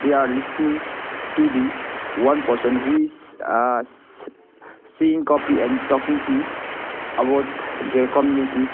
they are listening to the one person who is uh s seeing copy and talking to about their communities.